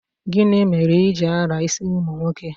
Gini mere I ji ala isi umu nwoke?